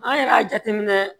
An yɛrɛ y'a jateminɛ